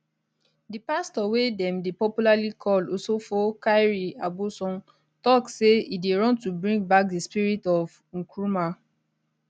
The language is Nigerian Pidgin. di pastor wey dem dey popularly call osofo kyiri aboson tok say e dey run to bring back di spirit of nkrumah